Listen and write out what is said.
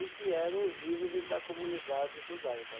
e que eram os líderes da comunidade judaica.